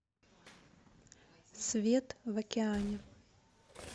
свет в океане